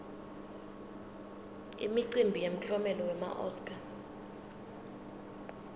imicimbi yemiklomelo wema oscar